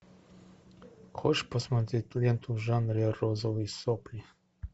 хочешь посмотреть ленту в жанре розовые сопли